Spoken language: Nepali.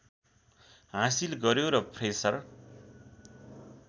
हासिल गर्‍यो र फ्रेसर